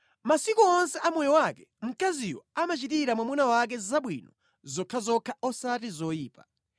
Masiku onse a moyo wake mkaziyo amachitira mwamuna wake zabwino zokhazokha osati zoyipa.